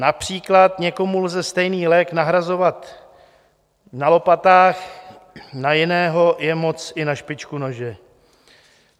Například někomu lze stejný lék nahrazovat na lopatách, na jiného je moc i na špičku nože.